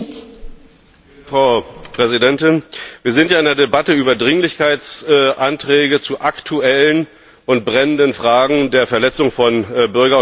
Frau Präsidentin! Wir sind ja in der Debatte über Dringlichkeitsanträge zu aktuellen und brennenden Fragen der Verletzung von Bürger und Menschenrechten.